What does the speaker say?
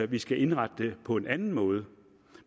vi skal indrette det på en anden måde